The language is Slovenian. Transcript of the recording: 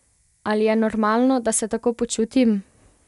Ali je normalno, da se tako počutim?